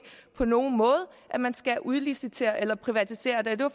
på nogen måde at man skal udlicitere eller privatisere det og det var